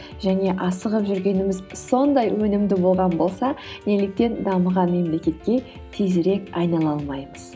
және асығып жүргеніміз сондай өнімді болған болса неліктен дамыған мемлекетке тезірек айнала алмаймыз